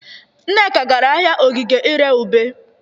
Nneka gara ahịa Ogige ị ree ube.